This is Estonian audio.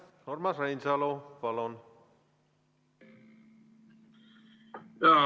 Urmas Reinsalu, palun!